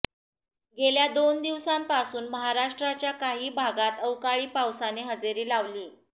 गेल्या दोन दिवसापासून महाराष्ट्राच्या काही भागांत अवकाळी पावसाने हजेरी लावली